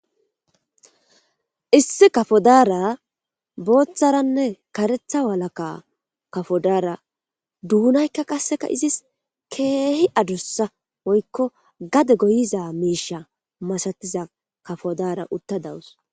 Issi kafodaara botharanne karetha walakka kafodaara duunaykka qasseka izis keehi adussa woyiko gade goyiza miisha masatiza kafodaara utta dawus